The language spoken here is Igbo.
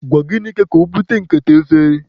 Gwa Ginika ka obute nkata efere.